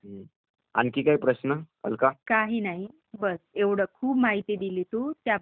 काही नाही ..बस एवढं ....खूप माहिती दिली तू...त्याबद्दल खूप खूप धन्यवाद ..बर..